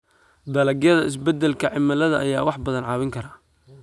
Dalagyada Isbeddelka Cimilada ayaa wax badan caawin kara.